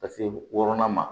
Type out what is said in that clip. Ka se wɔɔrɔnan ma